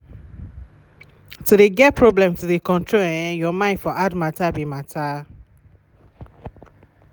to de get problem to de control um your mine for hard matter be matter.